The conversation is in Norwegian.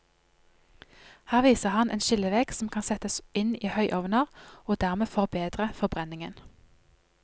Her viser han en skillevegg som kan settes inn i høyovner og dermed forbedre forbrenningen.